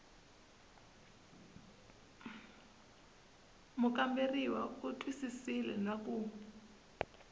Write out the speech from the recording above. mukamberiwa u twisisile na ku